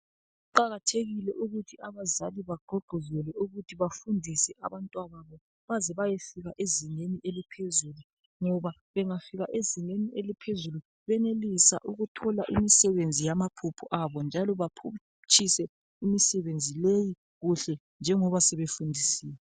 Kuqakathekile ukuthi abazali bagqugquzelwe ukuthi bafundise abantwana baze bayefika ezingeni eliphezulu ngoba bengayafika ezingeni eliphezulu bayenelisa ukuthola imisebenzi yamaphupho abo njalo baphutshise imisebenzi leyi kuhle ngengoba sebefundisiwe.